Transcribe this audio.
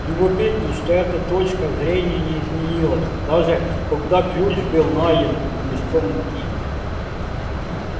любопытно что эта точка зрения не изменилась даже когда ключ был найден под мешком муки